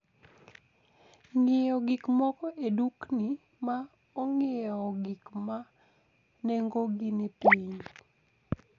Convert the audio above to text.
Ng'iewo gik moko e dukni ma ong'iewo gik ma nengogi ni piny.